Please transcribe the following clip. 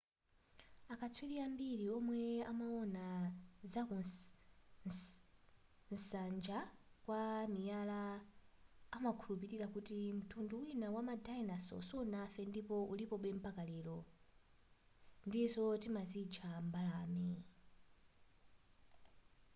akatswiri ambiri omwe amaona zakusanjana kwa miyala amakhulupilira kuti mtundu wina wama dinosaur sunafe ndipo ulipobe mpaka lero ndizo timazitcha mbalame